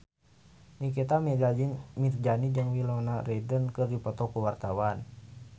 Nikita Mirzani jeung Winona Ryder keur dipoto ku wartawan